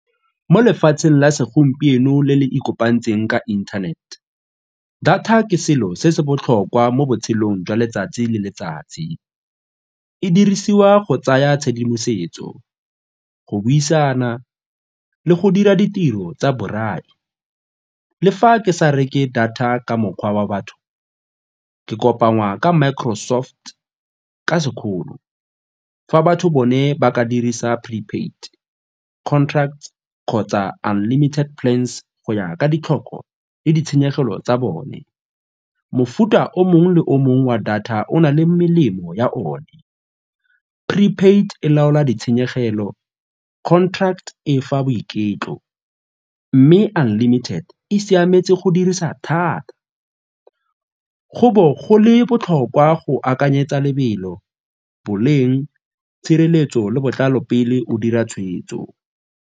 Mo lefatsheng la segompieno le le ikopantsweng ka inthanete data ke selo se se botlhokwa mo botshelong jwa letsatsi le letsatsi e dirisiwa go tsaya tshedimosetso, go buisana le go dira ditiro tsa borai. Le fa ke sa reke data ka mokgwa wa batho ke kopangwa ka Microsoft ka sekgolo fa batho bone ba ka dirisa pre-paid, contract kgotsa unlimited plans go ya ka ditlhoko le ditshenyegelo tsa bone. Mofuta o mongwe le o mongwe wa data o na le melemo ya one, pre-paid e laola ditshenyegelo, contract e e fa boiketlo mme unlimited e siametse go dirisa thata. Go bo go le botlhokwa go akanyetsa lebelo, boleng, tshireletso le botlalo pele o dira tshweetso.